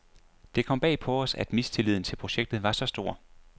Det kom bag på os, at mistilliden til projektet var så stor.